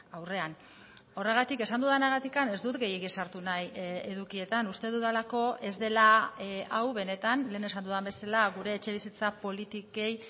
aurrean horregatik esan dudanagatik ez dut gehiegi sartu nahi edukietan uste dudalako ez dela hau benetan lehen esan dudan bezala gure etxebizitza politikei